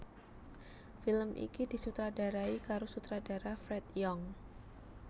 Film iki disutradarai karo sutradara Fred Young